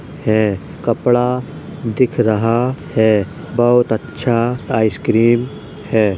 है कपड़ा दिख रहा है। बहुत अच्छा आइसक्रीम है।